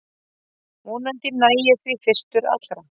Vonandi næ ég því fyrstur allra